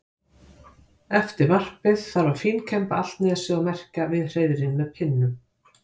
Eftir varpið þarf að fínkemba allt nesið og merkja við hreiðrin með pinnum.